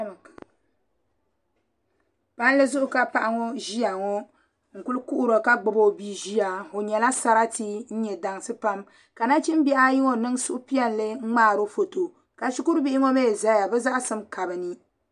Palli zuɣu ka paɣa ŋo ʒiya ŋo n ku kuhuri ka gbubi o bia ʒiya o nyɛla sarati n nyɛ dansi pam ka nachimbihi ayi ŋo niŋ suhupiɛlli n ŋmaaro foto ka shikuru bihi ŋo mii ʒɛya bi zaŋsim ka bi ni